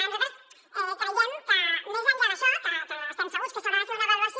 nosaltres creiem que més enllà d’això que estem segurs que s’haurà de fer una avaluació